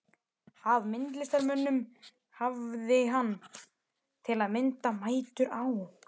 Af myndlistarmönnum hafði hann, til að mynda, mætur á